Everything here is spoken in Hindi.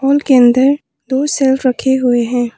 के अंदर दो शेल्फ रखें हुए हैं।